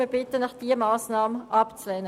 Wir bitten Sie, diese Massnahme abzulehnen.